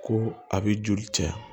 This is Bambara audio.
Ko a bɛ joli caya